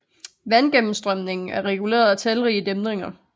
Vandgennemstrømningen er reguleret af talrige dæmninger